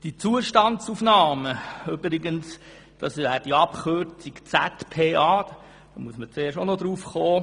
Die nicht gerade einsichtige Abkürzung ZPA steht für die Zustandsaufnahmen.